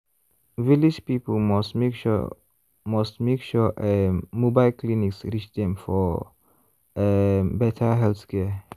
village people must make sure must make sure um mobile clinics reach dem for um better healthcare.